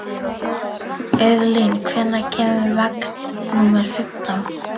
Auðlín, hvenær kemur vagn númer fimmtán?